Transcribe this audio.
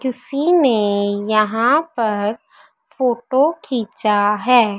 किसी ने यहां पर फोटो खींचा है।